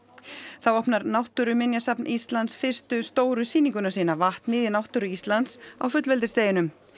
þá opnar Náttúruminjasafn Íslands fyrstu stóru sýninguna sína vatnið í náttúru Íslands á fullveldisdeginum